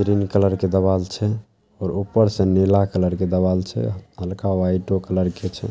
Green colour के देवाल छै। ऊपर से नीला कलर के दीवाल छै। हल्का व्हाइटो कलर के छै ।